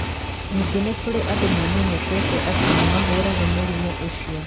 Ningĩ nĩ kũrĩ andũ mamenyekete atĩ nĩ mahũraga mũrimũ ũcio.